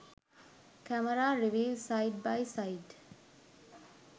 camera reviews side by side